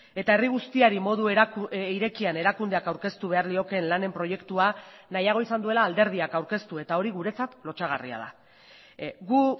eta herri guztiari modu irekian erakundeak aurkeztu behar liokeen lanen proiektua nahiago izan duela alderdiak aurkeztu eta hori guretzat lotsagarria da gu